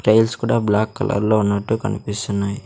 Tiles కూడా black colour లో ఉన్నట్టు కనిపిస్తున్నాయి.